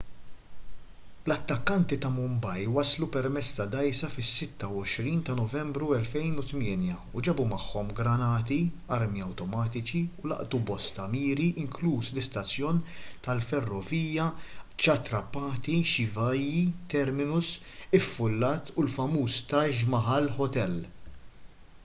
l-attakkanti ta' mumbai waslu permezz ta' dgħajsa fis-26 ta' novembru 2008 u ġabu magħhom granati armi awtomatiċi u laqtu bosta miri inkluż l-istazzjon tal-ferrovija chhatrapati shivaji terminus iffullat u l-famuż taj mahal hotel